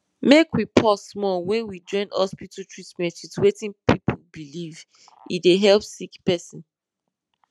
make we pause small when we join hospital treatment with wetin people believe e dey help sick person